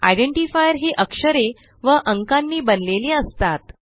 identifier ही अक्षरे व अंकांनी बनलेली असतात